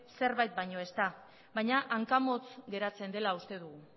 zerbait baino ez da baina hanka motz geratzen dela uste dugu